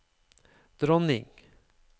dronning